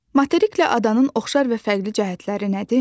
Materiklə adanın oxşar və fərqli cəhətləri nədir?